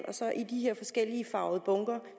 i de her forskelligfarvede bunker